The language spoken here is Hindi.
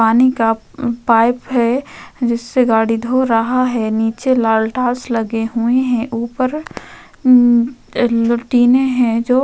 पानी का अम पाईप है जिससे गाड़ी धो रहा है नीचे लालटास लगे हुए हैं। ऊपर अम टीने हैं जो --